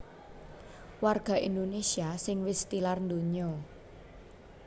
Warga Indonésia sing wis tilar donya